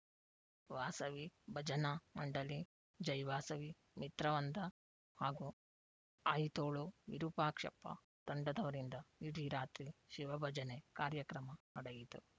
ವಾಸವಿ ಭಜನಾ ಮಂಡಲಿ ಜೈವಾಸವಿ ಮಿತ್ರವೃಂದ ಹಾಗೂ ಆಯಿತೋಳು ವಿರೂಪಾಕ್ಷಪ್ಪ ತಂಡದವರಿಂದ ಇಡೀ ರಾತ್ರಿ ಶಿವಭಜನೆ ಕಾರ್ಯಕ್ರಮ ನಡೆಯಿತು